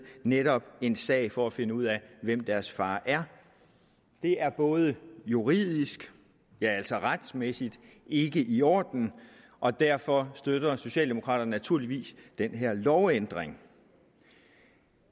netop en sag for at finde ud af hvem deres far er det er juridisk ja altså retsmæssigt ikke i orden og derfor støtter socialdemokraterne naturligvis den her lovændring